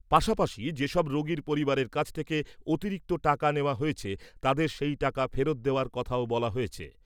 পাশাপাশি, যেসব রোগীর পরিবারের কাছ থেকে অতিরিক্ত টাকা নেওয়া হয়েছে, তাদের সেই টাকা ফেরত দেওয়ার কথাও বলা হয়েছে।